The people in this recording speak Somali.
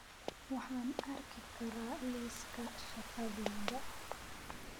Waxaan arki karaa liiska shaqadayda